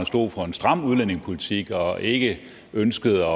stod for en stram udlændingepolitik og ikke ønskede